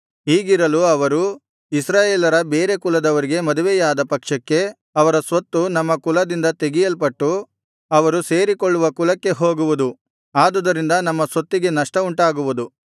ಹೀಗಿರಲು ಅವರು ಇಸ್ರಾಯೇಲರ ಬೇರೆ ಕುಲದವರಿಗೆ ಮದುವೆಯಾದ ಪಕ್ಷಕ್ಕೆ ಅವರ ಸ್ವತ್ತು ನಮ್ಮ ಕುಲದಿಂದ ತೆಗೆಯಲ್ಪಟ್ಟು ಅವರು ಸೇರಿಕೊಳ್ಳುವ ಕುಲಕ್ಕೆ ಹೋಗುವುದು ಆದುದರಿಂದ ನಮ್ಮ ಸ್ವತ್ತಿಗೆ ನಷ್ಟವುಂಟಾಗುವುದು